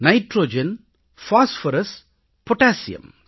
nitrogen phosphorus potassium